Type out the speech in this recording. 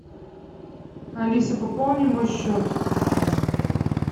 алиса пополни мой счет